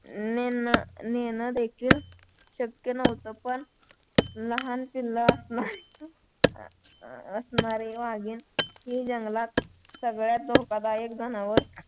नेणं देखील शक्य नव्हतं पण लहान पिल्लं असणारी वाघीण हे जंगलात सगळ्यात धोकादायक जनावर